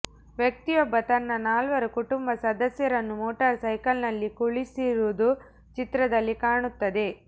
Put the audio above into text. ವ್ಯಕ್ತಿಯೊಬ್ಬ ತನ್ನ ನಾಲ್ವರು ಕುಟುಂಬ ಸದಸ್ಯರನ್ನು ಮೋಟಾರ್ ಸೈಕಲಿನಲ್ಲಿ ಕುಳ್ಳಿಸಿರುವುದು ಚಿತ್ರದಲ್ಲಿ ಕಾಣುತ್ತದೆ